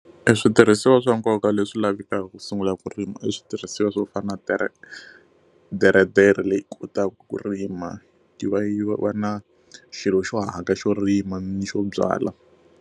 E switirhisiwa swa nkoka leswi lavekaka ku sungula ku rima i switirhisiwa swo fana na teretere leyi kotaka ku rima yi va yi va na xilo xo hanyaka xo rima ni xo byala.